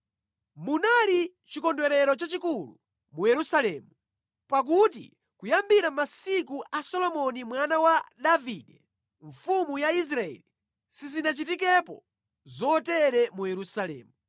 Munali chikondwerero chachikulu mu Yerusalemu, pakuti kuyambira masiku a Solomoni mwana wa Davide mfumu ya Israeli sizinachitikepo zotere mu Yerusalemu.